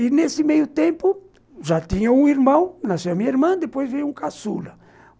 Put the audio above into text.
E, nesse meio tempo, já tinha um irmão, nasceu minha irmã, depois veio um caçula.